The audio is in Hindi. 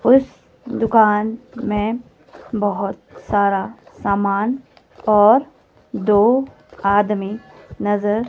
उस दुकान में बहोत सारा सामान और दो आदमी नजर--